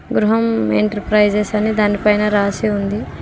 గృహం ఎంటర్ప్రైజెస్ అనే దానిపైన రాసి ఉంది.